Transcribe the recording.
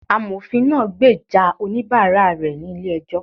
Amofín naa gbeja onibààrá rẹ ni ílé ejó